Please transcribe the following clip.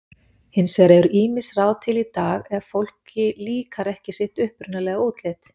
Hins vegar eru ýmis ráð til í dag ef fólki líkar ekki sitt upprunalega útlit.